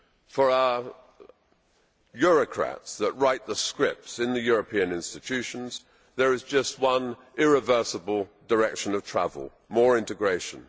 For our Eurocrats who write the scripts in the European institutions, there is just one irreversible direction of travel more integration.